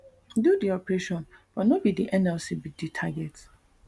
do di operation but no be di nlc be di target